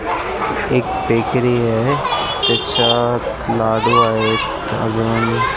एक बेकरी आहे त्याच्या आत लाडू आहेत अजून --